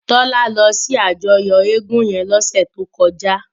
Tola lò si àjòyò égùn yèn lòdùn tókòjá